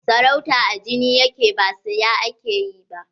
Sarauta a jini yake ba siya ake yi ba.